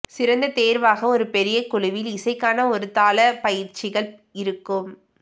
சிறந்த தேர்வாக ஒரு பெரிய குழுவில் இசைக்கான ஒரு தாள பயிற்சிகள் இருக்கும்